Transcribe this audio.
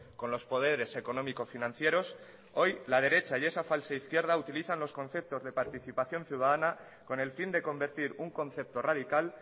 con los poderes económico financieros hoy la derecha y esa falsa izquierda utilizan los conceptos de participación ciudadana con el fin de convertir un concepto radical